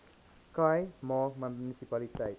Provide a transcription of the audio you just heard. khai ma munisipaliteit